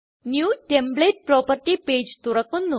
new template property page തുറക്കുന്നു